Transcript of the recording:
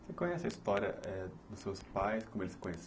Você conhece a história é dos seus pais, como eles se conhe